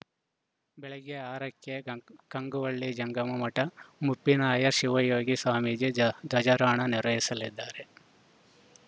ಬೆಳಗ್ಗೆ ಆರ ಕ್ಕೆ ಕಂ ಕಂಗುವಳ್ಳಿ ಜಂಗಮ ಮಠದ ಮುಪ್ಪಿನಾರ್ಯ ಶಿವಯೋಗಿ ಸ್ವಾಮೀಜಿ ಧ್ವಜ್ ಧ್ವಜಾರೋಹಣ ನೆರವೇರಿಸಲಿದ್ದಾರೆ